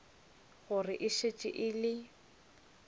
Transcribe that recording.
gore e šetše e le